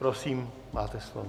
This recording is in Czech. Prosím, máte slovo.